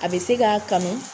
A be se k'a kanu